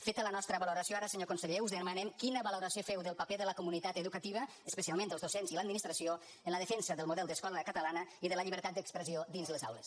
feta la nostra valoració ara senyor conseller us demanem quina valoració feu del paper de la comunitat educativa especialment dels docents i l’administració en la defensa del model d’escola catalana i de la llibertat d’expressió dins les aules